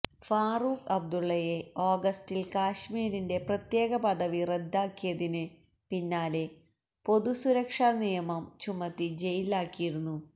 ഫാറൂഖ് അബ്ദുള്ളയെ ഓഗസ്റ്റില് കശ്മീരിന്റെ പ്രത്യേക പദവി റദ്ദാക്കിയതിന് പിന്നാലെ പൊതുസുരക്ഷാ നിയമം ചുമത്തി ജയിലാക്കിയിരുന്നു